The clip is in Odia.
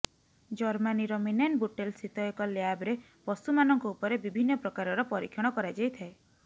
ଜର୍ମାନୀର ମିନେନବୁଟେଲ୍ ସ୍ଥିତ ଏକ ଲ୍ୟାବରେ ପଶୁ ମାନଙ୍କ ଉପରେ ବିଭିନ୍ନ ପ୍ରକାରର ପରୀକ୍ଷଣ କରାଯାଇଥାଏ